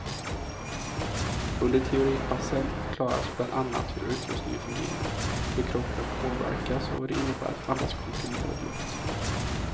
Under teoripassen förklaras bland annat hur utrustningen fungerar, hur kroppen påverkas och vad det innebär att andas komprimerad luft.